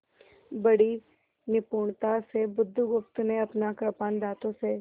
बड़ी निपुणता से बुधगुप्त ने अपना कृपाण दाँतों से